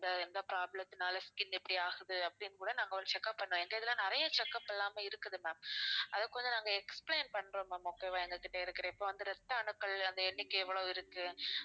எந்த எந்த problem த்துனால skin இப்படி ஆகுது அப்படின்னு கூட ஒரு check up பண்ணுவோம் எங்க இதுல நிறைய check up எல்லாமே இருக்குது ma'am அதுக்கு வந்து நாங்க explain பண்றோம் ma'am okay வா எங்ககிட்ட இருக்கிற இப்ப வந்து ரத்த அணுக்கள் அந்த எண்ணிக்கை எவ்வளவு இருக்கு